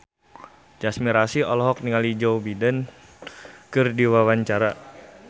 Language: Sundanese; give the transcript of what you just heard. Tyas Mirasih olohok ningali Joe Biden keur diwawancara